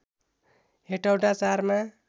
हेटौँडा ४ मा